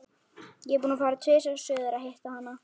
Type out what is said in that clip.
Ég er búinn að fara tvisvar suður að hitta hana.